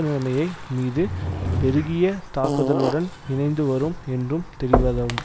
நிலைமையை மீது பெருகிய தாக்குதலுடன் இணைந்து வரும் என்றும் தெரிவதும்